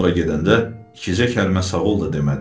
Sonra gedəndə ikicə kəlmə sağol da demədi.